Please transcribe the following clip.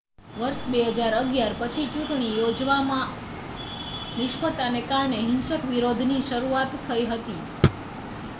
વર્ષ 2011 પછી ચૂંટણી યોજવામાં નિષ્ફળતાને કારણે હિંસક વિરોધની શરૂઆત થઈ હતી